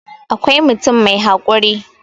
awkai mutum mai haƙuri